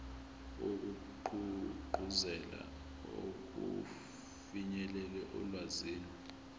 wokugqugquzela ukufinyelela olwazini